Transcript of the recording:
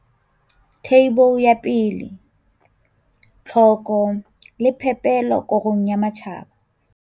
Theibole ya 1. Tlhoko le phepelo korong ya matjhaba.